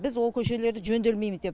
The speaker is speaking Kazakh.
біз ол көшелерді жөнделмейміз деп